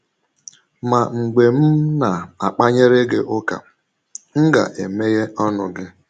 Ma mgbe m na - akpanyere gị ụka, m ga - emeghe ọnụ gị. ”